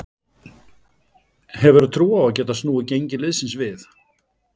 Hefurðu trú á að geta snúið gengi liðsins við?